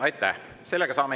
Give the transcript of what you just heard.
Aitäh!